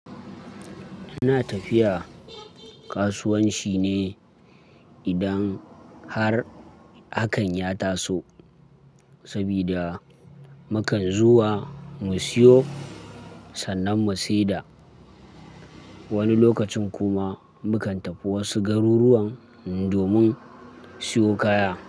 Ina tafiya kasuwanci ne idan har hakan ya taso, sabida mukan zuwa mu siyo sannan mu seda. Wani lokacin kuma mukan tafi wasu garuruwan domin siyo kaya.